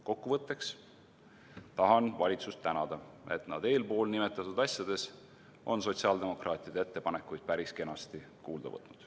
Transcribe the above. Kokkuvõtteks tahan valitsust tänada, et nad eespool nimetatud asjades on sotsiaaldemokraatide ettepanekuid päris kenasti kuulda võtnud.